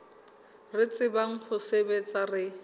re tsebang ho sebetsa re